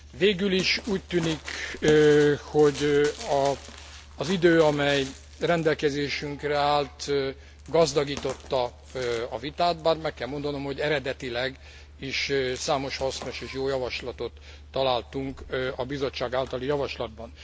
Végül is úgy tűnik, hogy az idő, amely rendelkezésünkre állt, gazdagította a vitát, bár meg kell mondanom, hogy eredetileg is számos hasznos és jó javaslatot találtunk a Bizottság általi javaslatban.